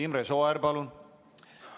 Imre Sooäär, palun!